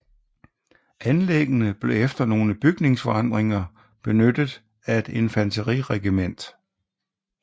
Anlæggene blev efter nogle bygningsforandringer benyttet af et infanteriregiment